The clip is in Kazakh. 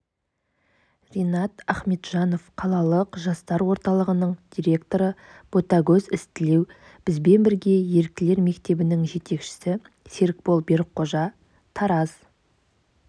ринад ахмеджанов қалалық жастар орталығының директоры ботагөз ізтілеу бізбен бірге еріктілер мектебінің жетекшісі серікбол берікқожа тараз